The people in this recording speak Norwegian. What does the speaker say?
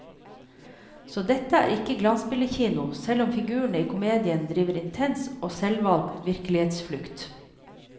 Så dette er ikke glansbildekino, selv om figurene i komedien driver intens og selvvalgt virkelighetsflukt.